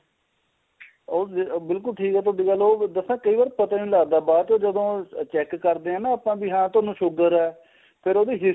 ਉਹ ਬਿਲਕੁਲ ਠੀਕ ਤੁਹਾਡੀ ਗੱਲ ਦੱਸਾ ਕਈ ਵਾਰ ਪਤਾ ਨੀਂ ਲੱਗਦਾ ਬਾਚੋ ਜਦੋ check ਕਰਦੇ ਨਾ ਆ ਬੀ ਆਪਾਂ ਵੀ ਹਾਂ ਤੁਹਾਨੂੰ sugar ਏ ਫੇਰ ਆਪਾਂ ਉਹਦੀ his